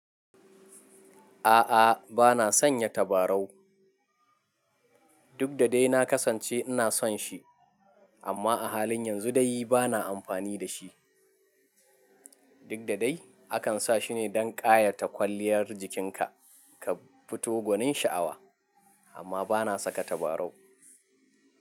A'a, bana sanya tabarau. Duk da dai na kasance ina son shi amma a halin yanzu dai bana amfani da shi. Duk da dai akan sa shi ne don ƙayata kwaliyar jikinka ka fito gwanin sha'awa amma bana saka tabarau.